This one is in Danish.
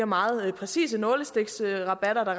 meget præcise nålestiksrabatter der